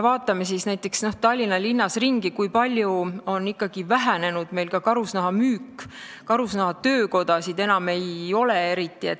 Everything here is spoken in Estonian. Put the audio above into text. Vaatame näiteks Tallinnas ringi, kui palju on ikkagi ka meil karusnaha müük vähenenud, karusnahatöökodasid enam eriti ei ole.